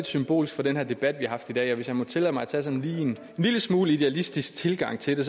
symbolsk for den her debat vi har i dag hvis jeg må tillade mig at tage en lille smule idealistisk tilgang til det